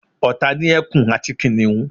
ọ̀tá ni ẹkun àti kìnìhún